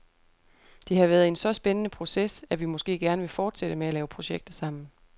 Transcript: Det har været en så spændende proces, at vi måske gerne vil fortsætte med at lave projekter sammen.